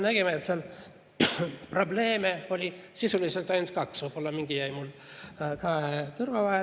Nägime, et probleeme oli sisuliselt ainult kaks, võib-olla mõni jäi mul kahe kõrva vahele.